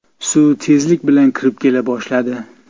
Suv tezlik bilan kirib kela boshladi.